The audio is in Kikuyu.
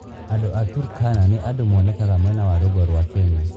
Andũ a Turkana nĩ andũ monekaga mwena wa rũgongo rwa Kenya